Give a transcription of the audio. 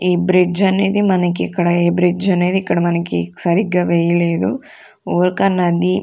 ఈ బ్రిడ్జ్ అనేది మనకి ఇక్కడ ఏ బ్రిడ్జ్ అనేది ఇక్కడ మనకి సరిగ్గా వేయలేదు ఒక నది --